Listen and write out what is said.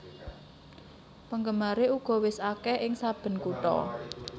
Penggemaré uga wis akèh ing saben kutha